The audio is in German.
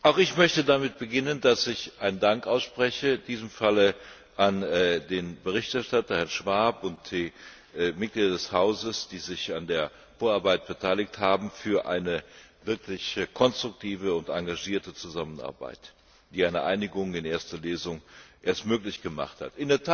Auch ich möchte damit beginnen, dass ich einen Dank ausspreche, in diesem Fall an den Berichterstatter, Herrn Schwab, und an die Mitglieder des Hauses, die sich an der Vorarbeit beteiligt haben, für eine wirklich konstruktive und engagierte Zusammenarbeit, die eine Einigung in erster Lesung erst möglich gemacht hat.